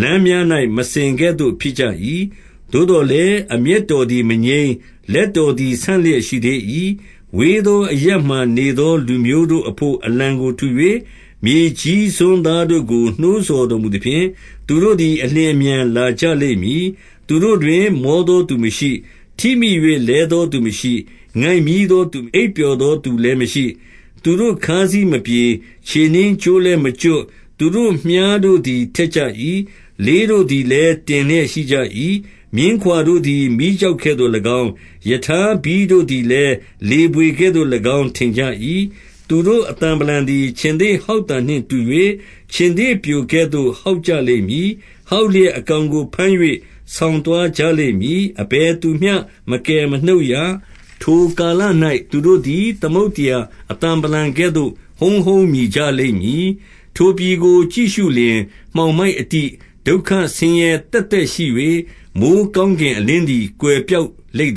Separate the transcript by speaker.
Speaker 1: လမ်းများ၌ မစင်ကဲ့သို့ဖြစ်ကြ၏။ သို့သော်လည်း အမျက်တော်သည် မငြိမ်း၊ လက်တော် သည် ဆန့်လျက်ရှိသေး၏။ ဝေးသောအရပ်မှာနေသော လူမျိုးတို့အဘို့ အလံကိုထူ၍၊ မြေကြီးစွန်းသားတို့ကို နှိုးဆော်တော်မူ သဖြင့်၊ သူတို့သည် အလျင်အမြန်လာကြလိမ့်မည်။ သူတို့တွင်မောသောသူမရှိ။ ထိမိ၍ လဲသောသူ မရှိ။ ငိုက်မျည်းသောသူ၊ အိပ်ပျော်သောသူလည်းမရှိ။ သူတို့ ခါးစည်းမပြေ။ ခြေနင်းကြိုးလည်းမကျွတ်။ သူတို့ မြှားတို့သည် ထက်ကြ၏။ လေးတို့သည် လည်း တင်းလျက်ရှိကြ၏။ မြင်းခွာတို့သည် မီးကျောက် ကဲ့သို့၎င်း၊ ရထားဘီးတို့သည်လည်း၊ လေဘွေကဲ့သို့၎င်း ထင်ကြ၏။ သူတို့အသံဗလံသည် ခြင်္သေ့ဟောက်သံနှင့်တူ၍၊ ခြင်္သေ့ပျိုကဲ့သို့ ဟောက်ကြလိမ့်မည်။ ဟောက်လျက် အကောင်ကိုဘမ်း၍ ဆောင်သွားကြလိမ့်မည်။ အဘယ်သူ မျှ မကယ်မနှုတ်ရ။ ထိုကာလ၌ သူတို့သည် သမုဒ္ဒရာ အသံဗလံ ကဲ့သို့ ဟုန်းဟုန်းမြည်ကြလိမ့်မည်။ ထိုပြည်ကိုကြည့်ရှုလျှင်၊ မှောင်မိုက်အတိ၊ ဒုက္ခဆင်းရဲသက်သက်ရှိ၍၊ မိုဃ်းကောင်း ကင် အလင်းသည် ကွယ်ပျောက်လိမ့်